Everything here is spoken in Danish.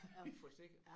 Nåh en forsikring